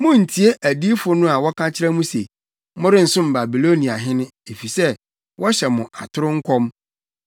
Munntie adiyifo no a wɔka kyerɛ mo se, ‘Morensom Babiloniahene,’ efisɛ wɔhyɛ mo atoro nkɔm.